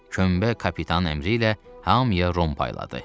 Könbə kapitan əmri ilə hamıya rum payladı.